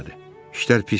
İşlər pisdir.